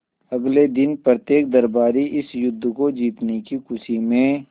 अगले दिन प्रत्येक दरबारी इस युद्ध को जीतने की खुशी में